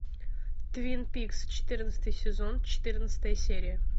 твин пикс четырнадцатый сезон четырнадцатая серия